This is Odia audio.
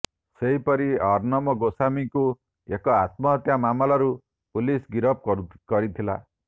ସେହିପରି ଅର୍ଣ୍ଣବ ଗୋସ୍ୱାମୀଙ୍କୁ ଏକ ଆତ୍ମହତ୍ୟା ମାମଲାରୁ ପୁଲିସ ଗିରଫ କରିଥିଲା